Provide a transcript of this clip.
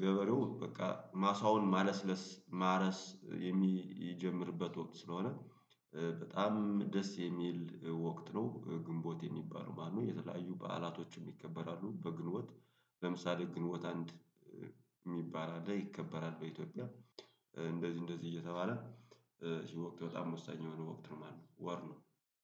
ገበሬው በቃ ማሳውን ማለስለስ ማረስ የሚጀምርበት ወቅት ስለሆነ በጣም ደስ የሚል ወቅት ነው። ግንቦት የሚባለው ማለት ነው የተለያዩ በዓላቶችም ይከበራሉ በግንቦት። ለምሳሌ ግንቦት አንድ እሚባል አለ ይከበራሉ በኢትዮጵያ። እንደዚህ እንደዚህ እየተባለ ይህ ወቅት በጣም ወሳኝ የሆነ ወቅት ነው ማለት ነው። ወር ነው